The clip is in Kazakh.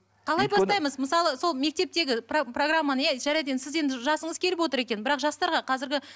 қалай бастаймыз мысалы сол мектептегі программаны иә жарайды енді сіз енді жасыңыз келіп отыр екен бірақ жастарға қазіргі